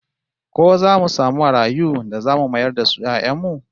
Ko zamu samu marayu da zamu mayar da su 'ya'yan mu?